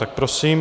Tak prosím.